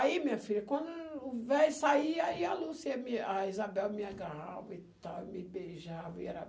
Aí, minha filha, quando o velho saía, aí a Lúcia me, a Isabel me agarrava e tal, me beijava, e era